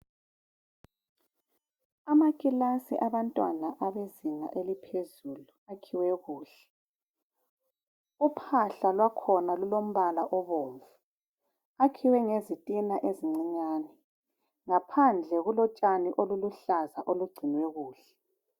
Amakilasi abantwana abezinga eliphezulu akhiwe kuhle. Uphahla lwakhona lulombala obomvu. Akhiwe ngezitina ezincinyane. Ngaphandle kulotshani oluluhlaza olugcinwe kuhle.